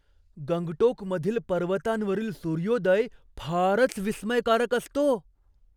गंगटोकमधील पर्वतांवरील सूर्योदय फारच विस्मयकारक असतो.